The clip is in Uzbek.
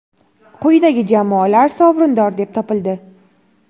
quyidagi jamoalar sovrindor deb topildi:.